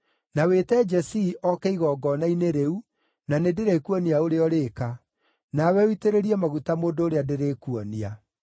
Na wĩte Jesii oke igongona-inĩ rĩu, na nĩndĩrĩkuonia ũrĩa ũrĩka. Nawe ũitĩrĩrie maguta mũndũ ũrĩa ndĩrĩkuonia.”